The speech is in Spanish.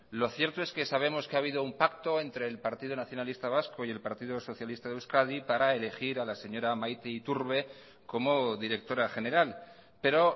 lo cierto es que sabemos que ha habido un pacto entre el partido nacionalista vasco y el partido socialista de euskadi para elegir a la señora maite iturbe como directora general pero